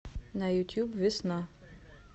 на ютуб весна